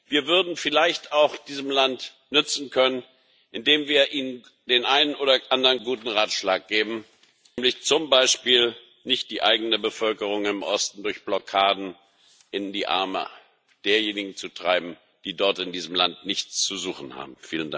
Wir würden vielleicht auch diesem Land nützen können, indem wir ihnen den einen oder anderen guten Ratschlag geben, nämlich zum Beispiel nicht die eigene Bevölkerung im Osten durch Blockaden in die Arme derjenigen zu treiben, die dort in diesem Land nichts zu suchen haben.